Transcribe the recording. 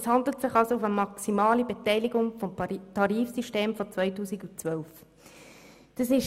Es handelt sich also um eine maximale Beteiligung gemäss dem Tarifsystem von 2012.